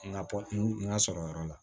N ka kɔ n ka sɔrɔyɔrɔ la